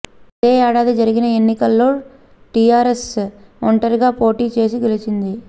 అదే ఏడాది జరిగిన ఎన్నికల్లో టీఆర్ ఎస్ ఒంటరిగా పోటీ చేసి గెలిచింది